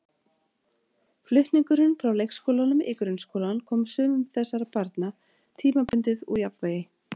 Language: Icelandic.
Flutningurinn frá leikskólanum í grunnskólann kom sumum þessara barna tímabundið úr jafnvægi.